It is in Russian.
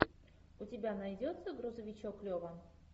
у тебя найдется грузовичок лева